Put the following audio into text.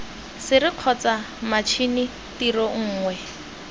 sere kgotsa matšhini tiro nngwe